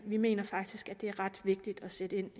vi mener faktisk at det er ret vigtigt at sætte ind